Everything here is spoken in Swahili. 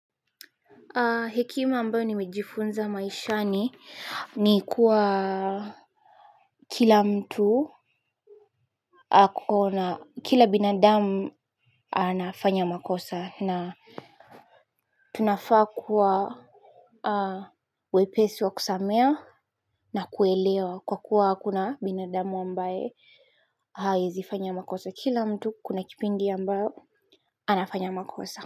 Hekima ambayo nimejifunza maishani ni kuwa kila mtu kuna kila binadamu anafanya makosa na tunafaa kuwa wepesi wa kusamea na kuelewa kwa kuwa kuna binadamu ambaye haezifanya makosa kila mtu kuna kipindi ambayo anafanya makosa. Kwa hiyo.